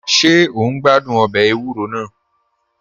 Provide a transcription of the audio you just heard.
Ṣe o n gbàdún ọbẹ èwùrò náà?